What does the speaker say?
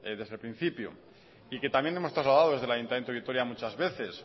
desde el principio y que también hemos trasladado desde el ayuntamiento de vitoria muchas veces